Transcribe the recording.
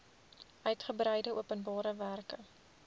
uitgebreide openbare werke